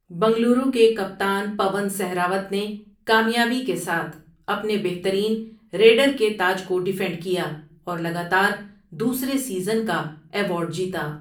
بنگلورو کے کپتان پون سہراوت نے کامیابی کے ساتھ اپنے بہترین ریڈر کے تاج کو ٖڈیفینڈ کیا اور لگاتار دوسرے سیزن کا ایوارڈ جیتا۔